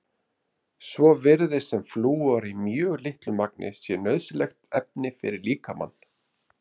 Svo virðist sem flúor í mjög litlu magni sé nauðsynlegt efni fyrir líkamann.